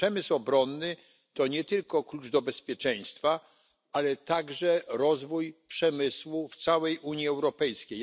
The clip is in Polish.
A przemysł obronny to nie tylko klucz do bezpieczeństwa, ale także rozwój przemysłu w całej Unii Europejskiej.